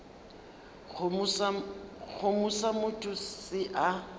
kgomo sa motho se a